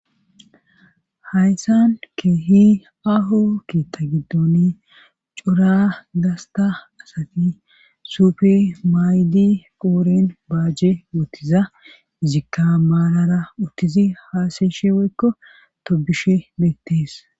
Hayssan keehi ahu keeththa giddoni cora asati sufe maydi qooren baajje wootiza izikka maalara uttizi haasayeshi weykko tobishe beettees.